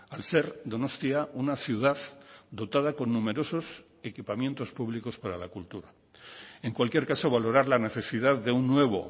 al ser donostia una ciudad dotada con numerosos equipamientos públicos para la cultura en cualquier caso valorar la necesidad de un nuevo